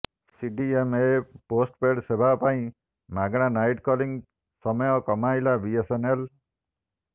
CDMA postpaid ସେବା ପାଇଁ ମାଗଣା ନାଇଟ୍ କଲିଂ ସମୟ କମାଇଲା ବିଏସଏନଏଲ